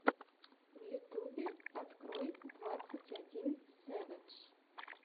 в ютьюбе открой двадцать один сэвэдж